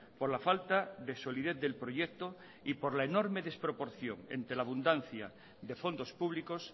por la falta de solidez del proyecto y por la enorme desproporción entre la abundancia de fondos públicos